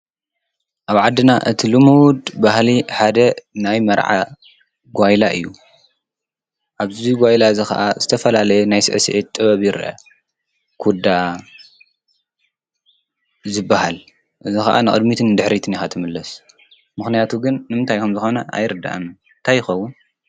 ኣብ ዓድና እቲ ልምድ ባህሊ ሓደ ናይ መርዓ ጓይላ እዩ። ኣብዙይ ጓይላ እዝ ኸዓ ዝተፈላለየ ናይ ስእስዒት ጥበቢ ይርአ። ኲዳ ዝበሃል እዝ ኸዓ ንቅድሚትን ድኅሪት ኢካ ትምለስ ምኽንያቱ ግን ንምታይኹም ዝኾነ ኣይርድኣን ታይኸውን?